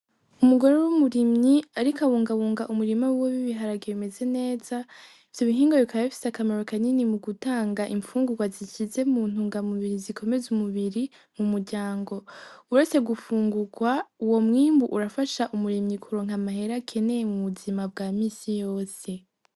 Umugore w'umurimyi ariko abungabunga umurima wiwe w'ibiharage bimeze neza . Ivyo bihinga bikaba bifise akamaro kanini mu gutanga impfungurwa zishitse mu ntungamubiri, zikomeza umubiri mu muryango . Uretse gufungurwa , uwo mwimbu urafasha umurimyi kuronka amahera akeneye mu buzima bwa misi yose.